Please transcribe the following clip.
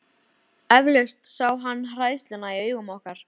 Eflaust sá hann hræðsluna í augum okkar.